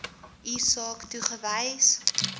u saak toegewys